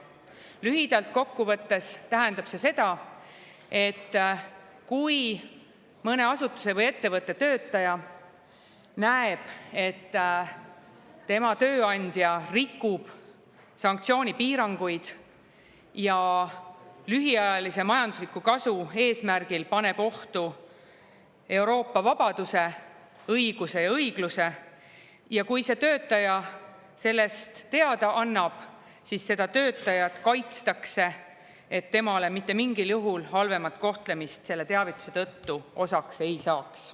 Lühidalt kokku võttes tähendab see seda, et kui mõne asutuse või ettevõtte töötaja näeb, et tema tööandja rikub sanktsioonipiiranguid ja lühiajalise majandusliku kasu eesmärgil paneb ohtu Euroopa vabaduse, õiguse ja õigluse, ning kui see töötaja sellest teada annab, siis seda töötajat kaitstakse nii, et temale mitte mingil juhul halvemat kohtlemist selle teavituse tõttu osaks ei saaks.